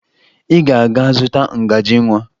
Ị ga-aga zụta ngaji nwa!